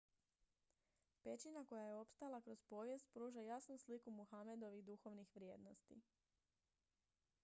pećina koja je opstala kroz povijest pruža jasnu sliku muhamedovih duhovnih vrijednosti